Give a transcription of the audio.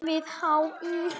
við HÍ.